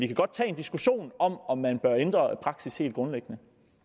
kan godt tage en diskussion om om man bør ændre praksis helt grundlæggende